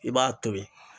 I b'a to ye